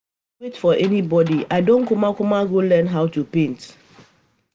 Time no dey wait for anybody I don kukuma go learn how to paint